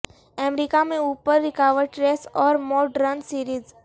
امریکہ میں اوپر رکاوٹ ریس اور موڈ رن سیریز